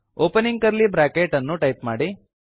opening curly bracket ಅನ್ನು type ಮಾಡಿ